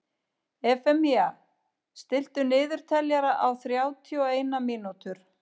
Efemía, stilltu niðurteljara á þrjátíu og eina mínútur.